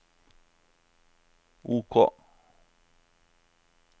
OK